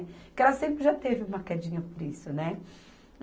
Porque ela sempre já teve uma quedinha por isso, né?